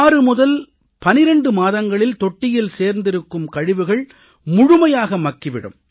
6 முதல் 12 மாதங்களில் தொட்டியில் சேர்ந்திருக்கும் கழிவுகள் முழுமையாக மக்கி விடும்